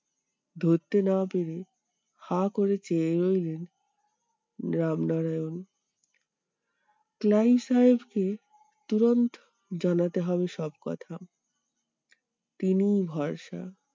ধরতে না পেরে হাঁ করে চেয়ে রইলেন রামনারায়ণ। ক্লাইভ সাহেব কে জানাতে হবে সব কথা। তিনিই ভরসা।